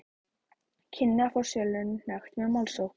kynni að fá sölunni hnekkt með málsókn.